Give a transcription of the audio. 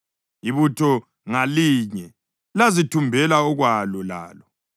Ibutho ngalinye lazithumbela okwalo lalo.